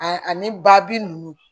Ani babi ninnu